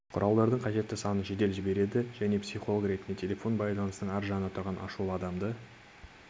құралдарының қажетті санын жедел жібереді және психолог ретінде телефон байланысының арғы жағында тұрған ашулы адамды